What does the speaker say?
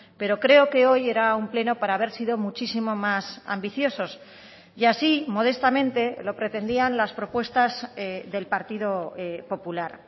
pero creo que hoy era un pleno para haber sido muchísimo más ambiciosos y así modestamente lo pretendían las propuestas del partido popular